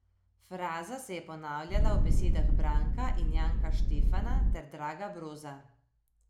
Fraza se je ponavljala v besedah Branka in Janka Štefana ter Draga Broza.